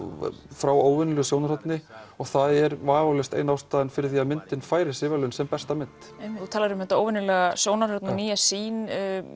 frá óvenjulegu sjónarhorni og það er vafalaust ein ástæða fyrir því að myndin fær þessi verðlaun sem besta mynd þú talar um þetta óvenjulega sjónarhorn og nýja sýn